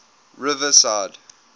riverside